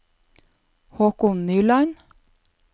Håkon Nyland